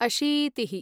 अशीतिः